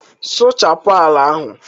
suchapu ala ahu!